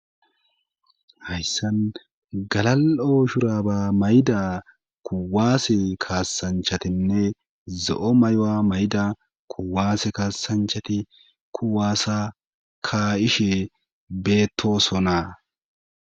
hayssan gala7ooshuraba mayda kuwaase kaasanchatinne zo7o may7o7a mayda kuwaase kaasanchati kuwaasa ka7ishe beettosonaa